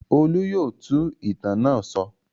Olú yóò tú ìtàn náà sọ.